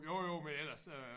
Jo jo men ellers øh